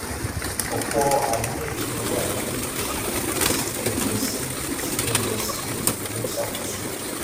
ọpọ ariyanjiyan wà lórí bó ṣe kó cbn lọ sí cbn lọ sí ètò tó ń ṣàkóso